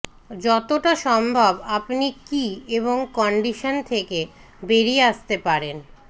যতটা সম্ভব আপনি কী এবং কন্ডিশন থেকে বেরিয়ে আসতে পারেন